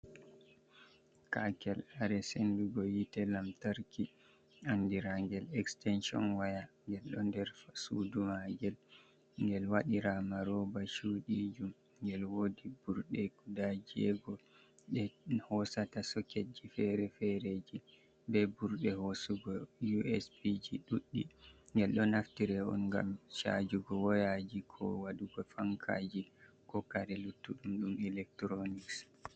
Kakel kare sendugo hitte lamtarki andira gel extention waya, ngel ɗo nder suduma ngel ngel waɗira ma roba cuɗijum, ngel wodi ɓurɗe guda jego ɗe hosata soketji fere-fereji, be ɓurɗe hosugo usb ji ɗuɗɗi, ngel ɗo naftiri on ngam chajugo wayaji, ko waɗugo fankaji, ko kare luttuɗum ɗum electronics.